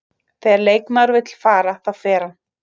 Þegar leikmaður vill fara, þá fer hann.